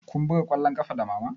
Kun buga ƙwallon ƙafa da mama?